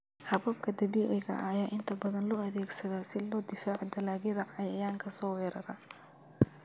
Hababka dabiiciga ah ayaa inta badan loo adeegsadaa si looga difaaco dalagyada cayayaanka soo weerara.